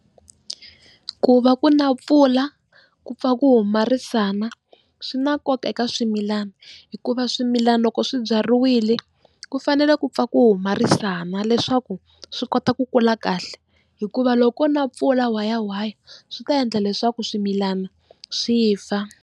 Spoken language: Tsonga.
Ku va ku na pfula ku pfa ku huma risana swi na nkoka eka swimilana, hikuva swimilana loko swibyariwile ku fanele ku pfa ku huma risana leswaku swi kota ku kula kahle hikuva loko ko na pfula whayawhaya swi ta endla leswaku swimilana swi fa.